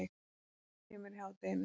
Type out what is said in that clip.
Mamma kemur í hádeginu.